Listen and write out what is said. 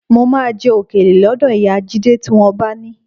Mo máa jẹ òkèlè lọ́dọ̀ ìyá Jídé tí wọ́n bá ni